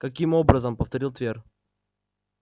каким образом повторил твер